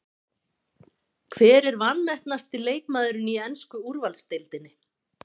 Hver er vanmetnasti leikmaðurinn í ensku úrvalsdeildinni?